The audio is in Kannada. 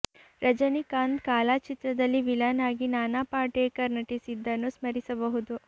ರಜನಿಕಾಂತ್ ಕಾಲಾ ಚಿತ್ರದಲ್ಲಿ ವಿಲನ್ ಆಗಿ ನಾನಾ ಪಾಟೇಕರ್ ನಟಿಸಿದ್ದನ್ನು ಸ್ಮರಿಸಬಹುದು